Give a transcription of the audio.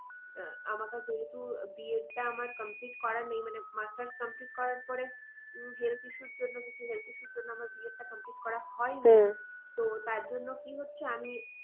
আহ আমাকে যেহেতু B edit টা আমার complete করা নেই মানে masters complete করার পরে উম health issue র জন্য কিছু health issue র জন্য আমার B edit টা complete করা তো তার জন্য কি হচ্ছে আমি